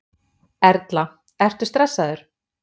Erla: Ertu stressaður?